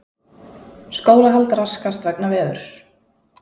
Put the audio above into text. Skólahald raskast vegna veðurs